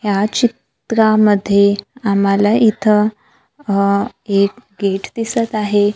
या चित्रामध्ये आम्हाला इथं अह एक गेट दिसत आहे.